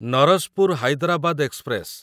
Narasapur Hyderabad express